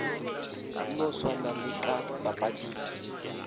no swana le ka dipapading